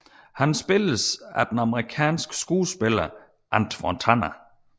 Han spilles af den amerikanske skuespiller Antwon Tanner